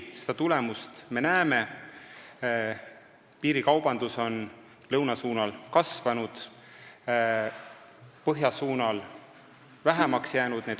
Selle tulemusi me näeme: piirikaubandus lõuna suunal on kasvanud ja põhja suunal vähenenud.